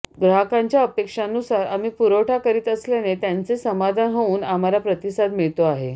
ग्राहकांच्या अपेक्षांनुसार आम्ही पुरवठा करीत असल्याने त्यांचे समाधान होऊन आम्हाला प्रतिसाद मिळतो आहे